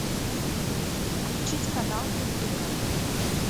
включить канал культура